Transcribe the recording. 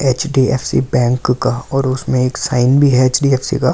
HDFC bank का और उसमे एक साइन भी है ऐच_डी_ऐफ_सी का --